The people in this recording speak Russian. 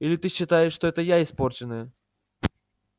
или ты считаешь что это я испорченная